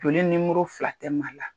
Fini numoro fila tɛ Mali la.